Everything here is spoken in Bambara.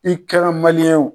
I kɛra ye